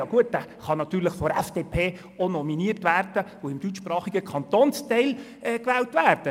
Ja, gut, dieser kann natürlich von der FDP auch nominiert und im deutschsprachigen Kantonsteil gewählt werden.